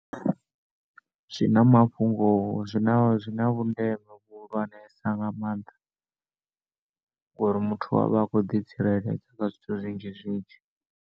Zwina mafhungo zwina zwina vhundeme vhuhulwanesa nga maanḓa, ngori muthu uyavha a kho ḓi tsireledza kha zwithu zwinzhi zwinzhi.